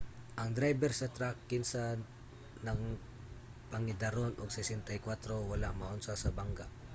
ang drayber sa trak kinsa nagpangidaron og 64 wala maunsa sa bangga